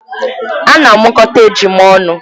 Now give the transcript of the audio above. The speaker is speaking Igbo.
Ana amụkọta ejima ọnụ